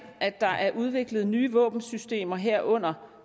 at der er udviklet nye våbensystemer herunder